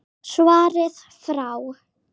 Svarið frá